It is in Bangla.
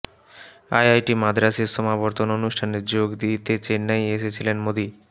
আইআইটি মাদ্রাজের সমাবর্তন অনুষ্ঠানে যোগ দিতে চেন্নাই এসেছিলেন মোদী